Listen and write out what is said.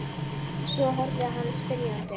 Svo horfði hann spyrjandi á mig.